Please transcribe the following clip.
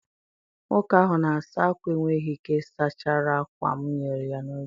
Nwoke ahụ na-asa ákwà enweghị ike sachara ákwá m nyere ya n'oge.